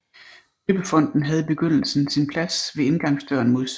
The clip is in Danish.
Døbefonten havde i begyndelsen sin plads ved indgangsdøren mod syd